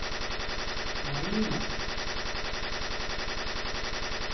Marína